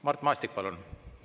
Mart Maastik, palun!